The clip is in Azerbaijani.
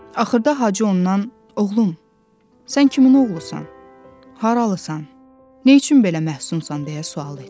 Axırda Hacı ondan: "Oğlum, sən kimin oğlusan? Haralısan? Nə üçün belə məhsunsan?" deyə sual etdi.